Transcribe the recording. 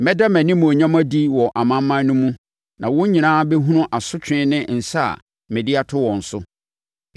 “Mɛda mʼanimuonyam adi wɔ amanaman no mu na wɔn nyinaa bɛhunu asotwe ne nsa a mede ato wɔn so.